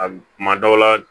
A kuma dɔw la